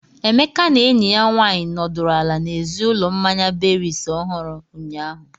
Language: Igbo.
Emeka na enyi ya nwanyị nọdụrụ ala n'èzí ụlọ mmanya berries ohuru, ụnyahụ.